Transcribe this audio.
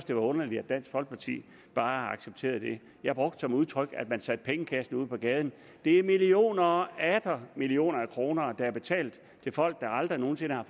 det var underligt at dansk folkeparti bare accepterede det jeg brugte det udtryk at man satte pengekassen ud på gaden det er millioner og atter millioner af kroner der er betalt til folk der aldrig nogen sinde har